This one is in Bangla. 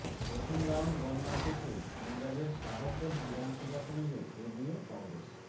প্রথম রাউন্ড গণনা শেষে পঞ্জাবের শাহকোট বিধানসভা কেন্দ্রে এগিয়ে কংগ্রেস